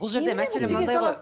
бұл жерде мәселе мынадай ғой